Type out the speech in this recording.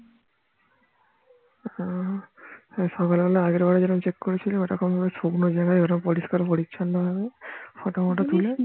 হ্যাঁ সকাল বেলা আগের বাড়ে যেরম check করেছিল শুকনো জায়গায় ওরম পরিষ্কার পরিছন্ন ভাবে photo মটো তুলে